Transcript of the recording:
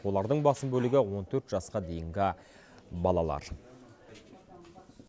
олардың басым бөлігі он төрт жасқа дейінгі балалар